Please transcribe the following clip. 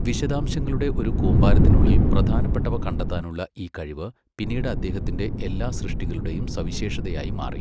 വിശദാംശങ്ങളുടെ ഒരു കൂമ്പാരത്തിനുള്ളിൽ പ്രധാനപ്പെട്ടവ കണ്ടെത്താനുള്ള ഈ കഴിവ് പിന്നീട് അദ്ദേഹത്തിന്റെ എല്ലാ സൃഷ്ടികളുടെയും സവിശേഷതയായി മാറി.